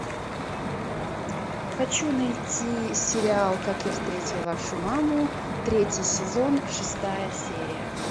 хочу найти сериал как я встретил вашу маму третий сезон шестая серия